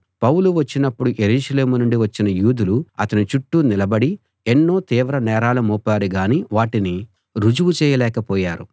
పౌలు వచ్చినప్పుడు యెరూషలేము నుండి వచ్చిన యూదులు అతని చుట్టూ నిలబడి ఎన్నో తీవ్ర నేరాలు మోపారు గాని వాటిని రుజువు చేయలేక పోయారు